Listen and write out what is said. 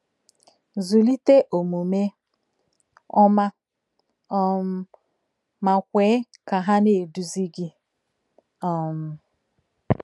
Zụlite omume ọma, um ma kwe ka ha na-eduzi gị. um